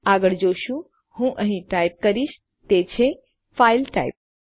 આગળ આપણે જોશું હું અહીં ટાઇપ કરીશ તે છે ફાઈલ ટાઇપ